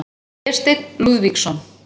Vésteinn Lúðvíksson.